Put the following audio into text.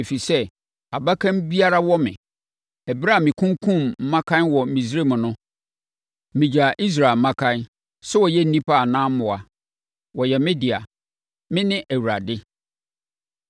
ɛfiri sɛ abakan biara wɔ me. Ɛberɛ a mekunkum mmakan wɔ Misraim no, megyaa Israel mmakan, sɛ wɔyɛ nnipa anaa mmoa. Wɔyɛ me dea. Mene Awurade.”